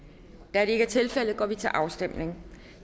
da det ikke er tilfældet går vi til afstemning